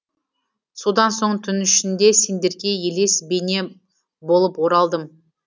содан соң түн ішінде сендерге елес бейне болып оралдым